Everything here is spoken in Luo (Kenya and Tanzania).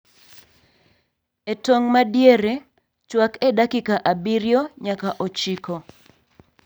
E tong' madiere, chwak e dakika abirio nyaka ochiko